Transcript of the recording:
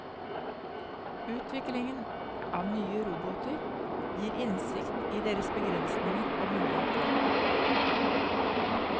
Utviklingen av nye roboter gir innsikt i deres begrensninger og muligheter.